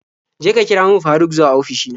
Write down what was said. Je ka kira min Faruk zuwa ofishi na.